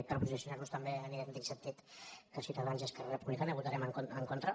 per posicionar·nos també en idèn·tic sentit que ciutadans i esquerra republicana vo·tarem en contra